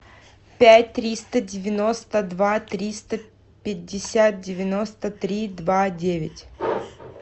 пять триста девяносто два триста пятьдесят девяносто три два девять